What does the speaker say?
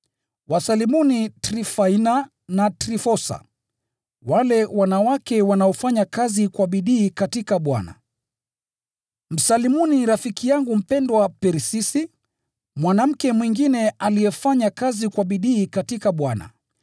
Wasalimuni Trifaina na Trifosa, wale wanawake wanaofanya kazi kwa bidii katika Bwana. Msalimuni rafiki yangu mpendwa Persisi, mwanamke mwingine aliyefanya kazi kwa bidii katika Bwana.